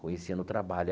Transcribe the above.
Conheci no trabalho.